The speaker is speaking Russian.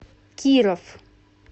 киров